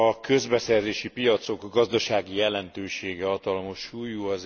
A közbeszerzési piacok gazdasági jelentősége hatalmas súlyú.